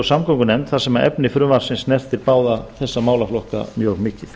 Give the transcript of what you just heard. og samgöngunefnd þar sem efni frumvarpsins snertir báða þessa málaflokka mjög mikið